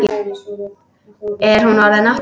Er hún orðin átta?